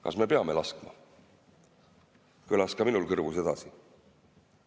Kas me peame laskma, kõlas ka minul kõrvus edasi.